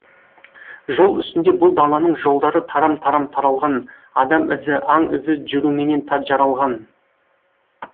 жол үстінде бұл даланың жолдары тарам тарам таралған адам ізі аң ізі жүруменен жаралған